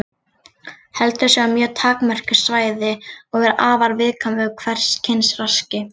Heldur sig á mjög takmörkuðu svæði og er afar viðkvæm fyrir hvers kyns raski.